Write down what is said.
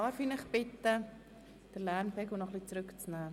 Darf ich Sie bitten, den Lärmpegel noch etwas zurückzunehmen?